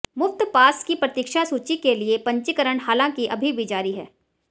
मुफ्त पास की प्रतीक्षा सूची के लिए पंजीकरण हालांकि अभी भी जारी है